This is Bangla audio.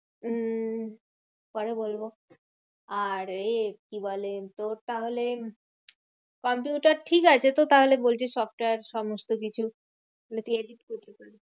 উম পরে বলবো আর এ কি বলে তোর তাহলে কম্পিউটার ঠিকাছে তো তাহলে বলছিস software সমস্তকিছু?